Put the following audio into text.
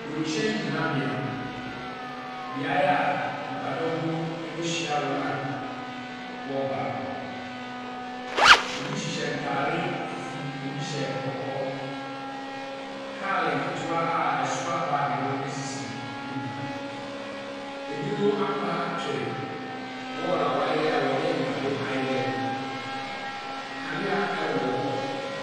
Wiemhyɛn gyinabea. Beaeɛ a nnipadɔm no bɛhyia wɔn a wɔreba no. Ɛbi hyehyɛ ntaare fufuu, bi hyɛ kɔkɔɔ. Kaale nketewa a ɛsoa baage no sisi anim ha. Binom apa atwere wall a wɔade a wɔde nnade ayɛ no. Kanea wɔ hɔ.